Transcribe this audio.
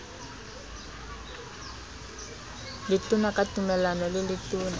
letona ka tumellano le letona